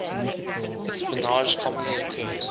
espionage commonly occurs